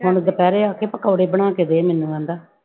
ਹੁਣ ਦੁਪਹਿਰੇ ਆ ਕੇ ਪਕੋੜੇ ਬਣਾ ਕੇ ਦੇ ਮੈਨੂੰ ਕਹਿੰਦਾ।